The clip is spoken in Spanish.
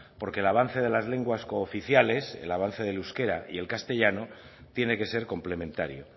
porque el avance de las lenguas cooficiales el avance del euskera y el castellano tiene que ser complementario